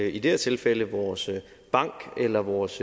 i det her tilfælde vores bank eller vores